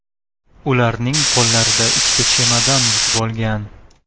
Ularning qo‘llarida ikkita chemodan yuk bo‘lgan.